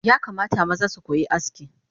Yakamata maza sukoyi aski